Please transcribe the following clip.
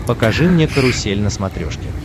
покажи мне карусель на смотрешке